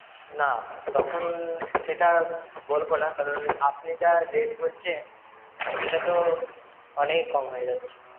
না, তখন সেটা বলবো না কারণ~ আপনি যা rate বলছেন~ সেটা তো~ অনেক কম হয়ে যাচ্ছে।